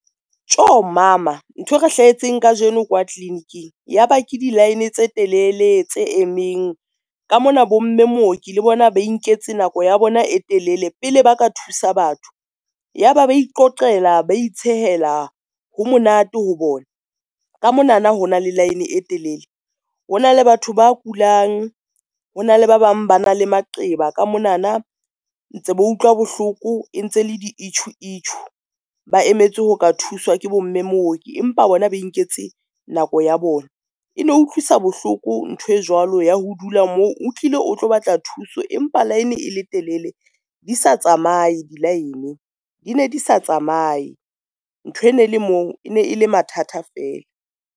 Tjho! mama nthwe re hlahetseng kajeno kwa clinic-ing ya ba ke di-line tse telele tse emeng, ka mona bomme mooki le bona ba inketse nako ya bona e telele pele ba ka thusa batho. Ya ba ba iqoqela ba itshehela ho monate ho bona ka mona na ho na le line e telele. Ho na le batho ba kulang, hona le ba bang ba na le maqeba ka mona na, ntse ba utlwa bohloko e ntse le di itjhuu itjhuu ba emetse ho ka thuswa ke bomme mooki. Empa bona ba inketse nako ya bona, e ne e utlwisa bohloko ntho e jwalo ya ho o dula moo utlile o tlo batla thuso, empa line e le telele di sa tsamaye di-line, di ne di sa tsamaye. Ntho e ne le moo e ne e le mathata feela.